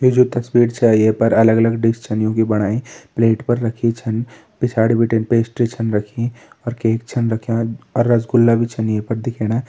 यु जु तस्वीर छ ये पर अलग अलग डिश छन युं की बणायीं प्लेट पर रखीं छन पिछाड़ी बिटिन पेस्ट्री छन रखीं और केक छन रख्यां अर रसगुल्ला भी छन ये पर दिखेणा।